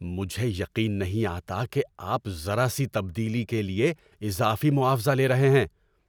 مجھے یقین نہیں آتا کہ آپ ذرا سی تبدیلی کے لیے اضافی معاوضہ لے رہے ہیں۔